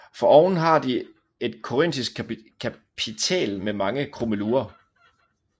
Foroven har de et korintisk kapitæl med mange krummelurer